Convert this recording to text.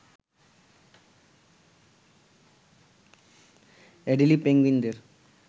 Adelie পেঙ্গুইনদের